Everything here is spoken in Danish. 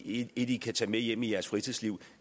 et i kan tage med hjem i jeres fritidsliv